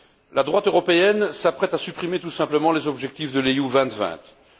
La droite européenne s'apprête à supprimer tout simplement les objectifs de la stratégie Europe